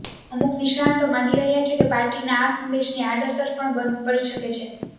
અમુક નિષ્ણાંતો માની રહ્યાં છે કે પાર્ટીના આ સંદેશની આડઅસર પણ પડી શકે છે